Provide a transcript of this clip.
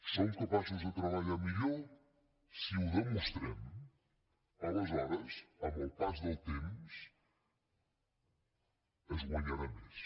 som capaços de treballar millor si ho demostrem aleshores amb el pas del temps es guanyarà més